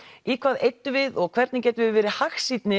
í hvað eyddum við og hvernig getum við verið